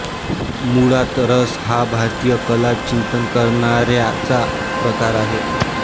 मुळात रस हा भारतीय कला चिंतन करणाऱ्याचा प्रकार आहे